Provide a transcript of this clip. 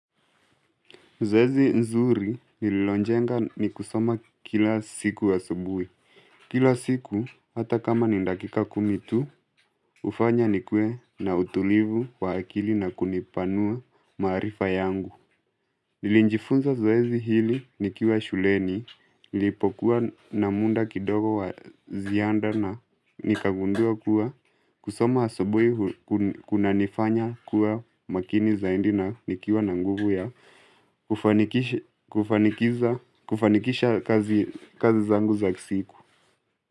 Zoezi nzuri nililojenga ni kusoma kila siku asubui. Kila siku, hata kama ni dakika kumi tu, hufanya ni kuwe na utulivu wa akili na kunipanua maarifa yangu. Nilijifunza zoezi hili nikiwa shuleni, nilipokuwa na muda kidogo wa ziada na nikagundua kuwa. Kusoma asubui kuna nifanya kuwa makini zaidi na nikiwa na nguvu ya ufanikishi kufanikisha kazi zangu za siku.